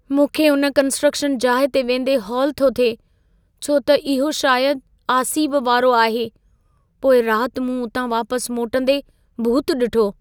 मूंखे उन कंस्ट्रक्शन जाइ ते वेंदे हौल थो थिए, छो त इहो शायद आसीब वारो आहे। पोईं रात मूं उतां वापस मोटंदे भूत ॾिठो।